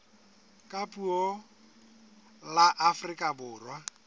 ka puo la afrika borwa